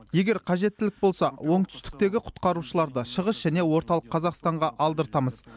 егер қажеттілік болса оңтүстіктегі құтқарушыларды шығыс және орталық қазақстанға алдыртамыз